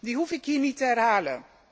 Die hoef ik hier niet te herhalen.